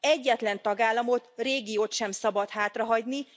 Egyetlen tagállamot, régiót sem szabad hátrahagyni.